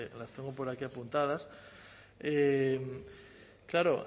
las tengo por aquí apuntadas claro